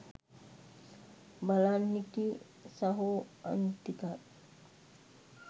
බලන් හිටියෙ සහො අනිත් ටිකත්